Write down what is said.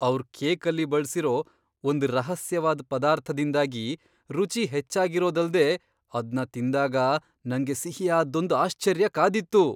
ಅವ್ರ್ ಕೇಕಲ್ಲಿ ಬಳ್ಸಿರೋ ಒಂದ್ ರಹಸ್ಯವಾದ್ ಪದಾರ್ಥದಿಂದಾಗಿ ರುಚಿ ಹೆಚ್ಚಾಗಿರೋದಲ್ದೇ ಅದ್ನ ತಿಂದಾಗ ನಂಗೆ ಸಿಹಿಯಾದ್ದೊಂದ್ ಆಶ್ಚರ್ಯ ಕಾದಿತ್ತು!